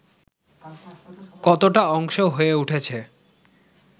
কতোটা অংশ হয়ে উঠেছে